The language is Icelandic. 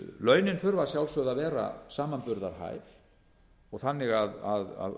launin þurfa að sjálfsögðu að vera samanburðarhæf og þannig að